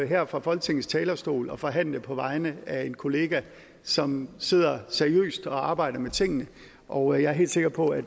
her fra folketingets talerstol og forhandle på vegne af en kollega som sidder seriøst og arbejder med tingene og jeg er helt sikker på at